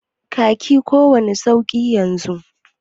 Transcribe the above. ka ki kowani sauki yanzun?